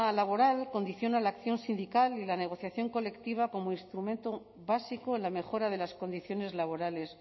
laboral condiciona la acción sindical y la negociación colectiva como instrumento básico en la mejora de las condiciones laborales